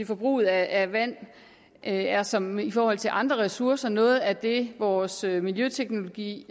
forbruget af vand er som i forhold til andre ressourcer noget af det vores miljøteknologi